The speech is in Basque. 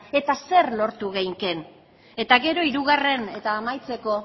eta zer lortu genezakeen eta gero hirugarren eta amaitzeko